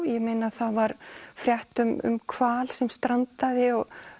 ég meina það var frétt um hval sem strandaði